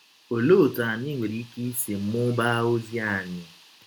Ọlee ọtụ anyị nwere ike isi mụbaa ọzi anyị?